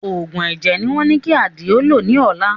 Òògùn ẹ̀jẹ̀ ni wọ́n ní kí Àdìó lò ní ọ̀la